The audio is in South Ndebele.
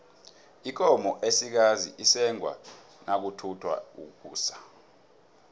ikomo esikazi isengwa nakuthatha ukusa